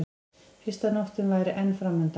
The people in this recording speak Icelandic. Fyrsta nóttin væri enn framundan.